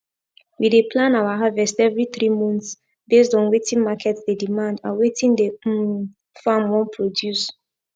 we dey plan our harvest every three months based on wetin market dey demand and wetin the um farm wan produce